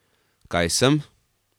Kaj sem?